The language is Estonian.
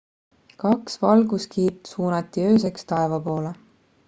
kaks valguskiirt suunati ööseks taeva poole